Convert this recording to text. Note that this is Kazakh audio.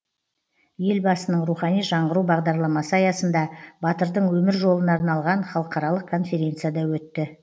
елбасының рухани жаңғыру бағдарламасы аясында батырдың өмір жолына арналған халықаралық конференция да өтті